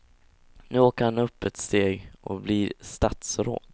Nu åker han upp ett steg och blir statsråd.